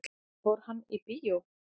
Fór hann í bíó?